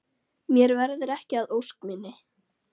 Mér verður ekki að ósk minni.